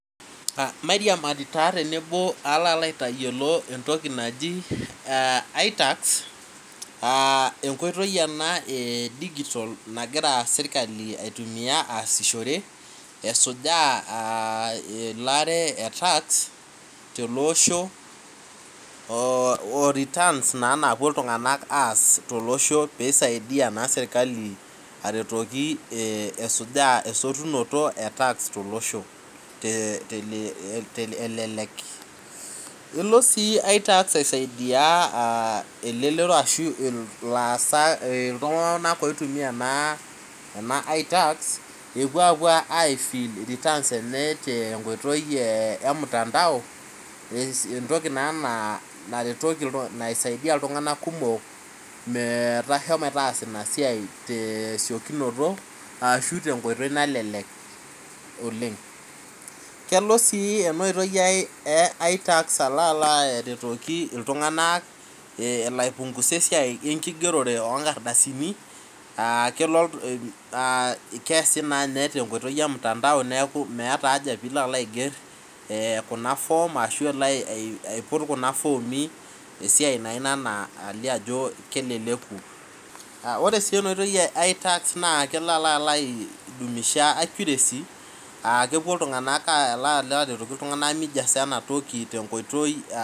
Mairamari taa tenebo aalo alo aitanyiolo entoki naji itax, enkoitoi ana dijitol nagira sirkali aitumiya aasishore esijuaa elaaew etaks, te ale osho, oretans naa napuo ltunganak aas to losho peisaidiya naa sirkali aretoki, esuja esotunoto etaks te loshoteleleki, elo sii taks aisaidia elelero ashu ilaasak, iltungana oitumiya naa ena aitaks epuo aapo aifil ritans enye te nkoitoi emutandao, ntoki naa naretoki ltungana, naisaidiya ltungana kumok meitasho metaasa inia siai te siekunoto ahu te nkoitoi nalelek oleng. Kelo sii ena oitoi e aitaks aalo alo aretoki tunganak elo aipungusa esiai nijo enkigerore enkardasini, aa keasi naa ninye te nkoitoi emutandao, neaku meata aja piilo alo aiger kuna foom ashu alo aiput kuna foomi, esiai naa inia naa eilio ajo keleleku, ore sii ana oitoi e aitaks naa kelo alo aidumisha akiuresi aa kepo ltunganak aajoli ltungana neijasa enatoki te nkoitoi.